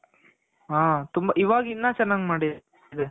ಹಾ ಇವಾಗ್ ಇನ್ನು ಚೆನಾಗ್ ಮಾಡಿದಾರೆ